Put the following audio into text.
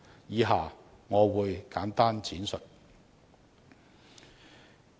以下我會簡單闡述。